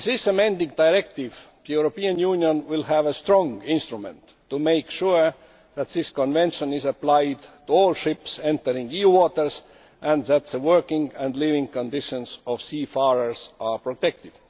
With this amending directive, the European Union will have a strong instrument to make sure that the Convention is applied to all ships entering EU waters, and that the working and living conditions of seafarers are protected.